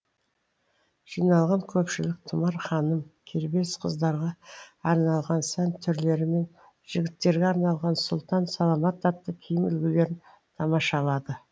жиналған көпшілік тұмар ханым кербез қыздарға арналған сән түрлері мен жігіттерге арналған сұлтан саламат атты киім үлгілерін тамашалады